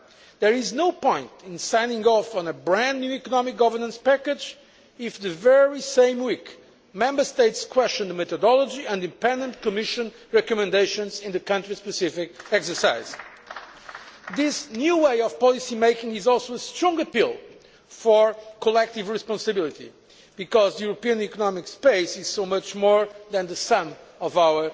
There is no point in signing off on a brand new economic governance package if, the very same week, Member States question the methodology and independent Commission recommendations in the country specific exercise. This new way of policy making is also a strong appeal for collective responsibility, because the European Union's economic space is so much more than the sum of